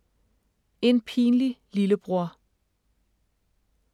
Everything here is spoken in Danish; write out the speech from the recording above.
En pinlig lillebror